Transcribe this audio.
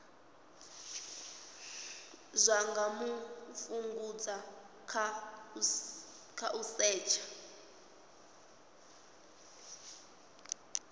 nga fhungudzwa nga u setsha